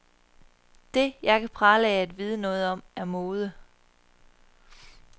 Det, jeg kan prale af at vide noget om, er mode.